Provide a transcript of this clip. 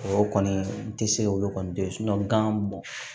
O kɔni n tɛ se olu kɔni tɛ ye gan mɔn